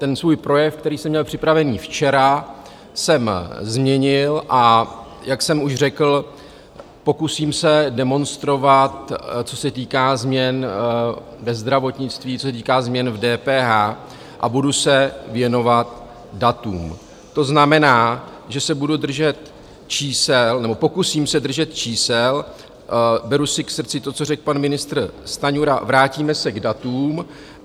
Ten svůj projev, který se měl připravený včera, jsem změnil, a jak jsem už řekl, pokusím se demonstrovat, co se týká změn ve zdravotnictví, co se týká změn v DPH, a budu se věnovat datům, to znamená, že se budu držet čísel, nebo pokusím se držet čísel, beru si k srdci to, co řekl pan ministr Stanjura, vrátíme se k datům.